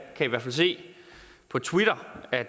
kan hvert fald se på twitter at